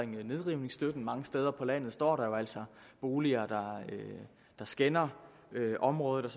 nedrivningsstøtten mange steder på landet står der jo altså boliger der skænder området